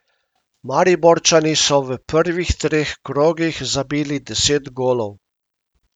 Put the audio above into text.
Mariborčani so v prvih treh krogih zabili deset golov.